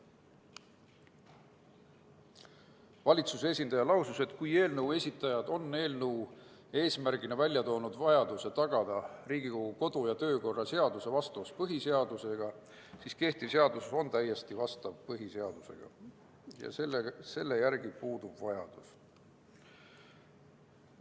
Valitsuse esindaja lausus, et eelnõu esitajad on eelnõu eesmärgina toonud välja vajaduse tagada Riigikogu kodu- ja töökorra seaduse vastavus põhiseadusele, aga kehtiv seadus ongi juba põhiseadusele vastav ja selle muutmise järele puudub vajadus.